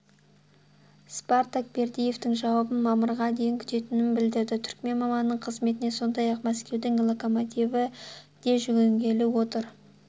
спартак бердыевтің жауабын мамырға дейін күтетінін білдірді түрікмен маманының қызметіне сондай-ақ мәскеудің локомотиві де жүгінгелі отыр